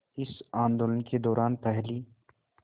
इस आंदोलन के दौरान पहली